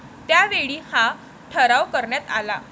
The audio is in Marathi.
त्यावेळी हा ठराव करण्यात आला.